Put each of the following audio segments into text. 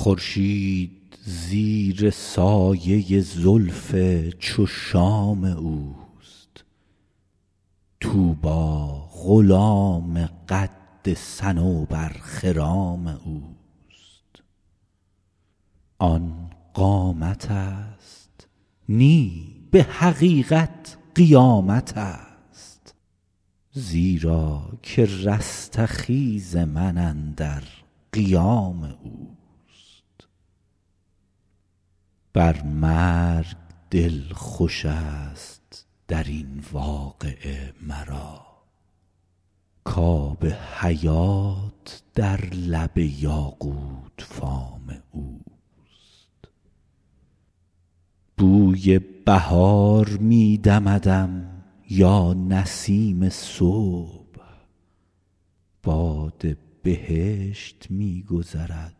خورشید زیر سایه زلف چو شام اوست طوبی غلام قد صنوبرخرام اوست آن قامتست نی به حقیقت قیامتست زیرا که رستخیز من اندر قیام اوست بر مرگ دل خوشست در این واقعه مرا کآب حیات در لب یاقوت فام اوست بوی بهار می دمدم یا نسیم صبح باد بهشت می گذرد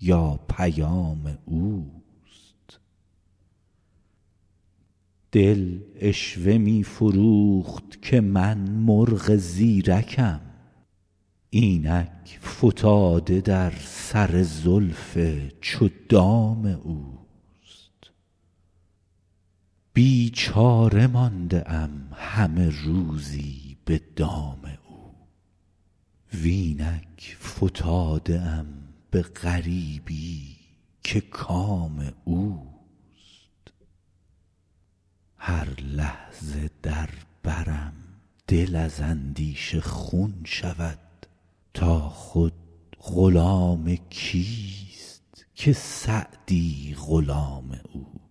یا پیام اوست دل عشوه می فروخت که من مرغ زیرکم اینک فتاده در سر زلف چو دام اوست بیچاره مانده ام همه روزی به دام او و اینک فتاده ام به غریبی که کام اوست هر لحظه در برم دل از اندیشه خون شود تا خود غلام کیست که سعدی غلام اوست